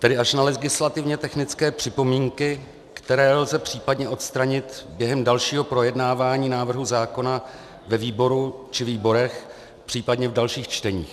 Tedy až na legislativně technické připomínky, které lze případně odstranit během dalšího projednávání návrhu zákona ve výboru či výborech, případně v dalších čteních.